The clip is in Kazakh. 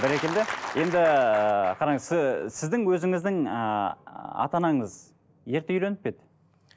бәрекелді енді қараңыз сіздің өзіңіздің ыыы ата анаңыз ерте үйленіп пе еді